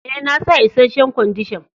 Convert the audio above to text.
E,na sa isheshen Kwandishan.